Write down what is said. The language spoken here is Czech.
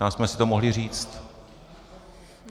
Tam jsme si to mohli říct.